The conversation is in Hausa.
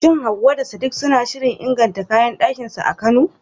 Shin Hawwa da Sadiq suna shirin inganta kayan dakinsu a Kano?